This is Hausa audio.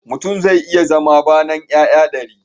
Mutum zai iya zama banan 'ya'ya dari